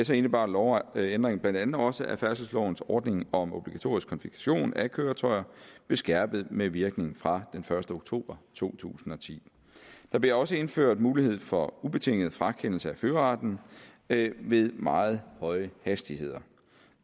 så indebar lovændringen blandt andet også at færdselslovens ordning om obligatorisk konfiskation af køretøjer blev skærpet med virkning fra den første oktober to tusind og ti der blev også indført mulighed for ubetinget frakendelse af førerretten ved ved meget høje hastigheder